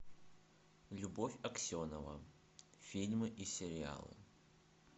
любовь аксенова фильмы и сериалы